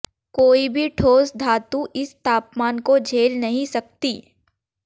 कोई भी ठोस धातु इस तापमान को झेल नहीं सकती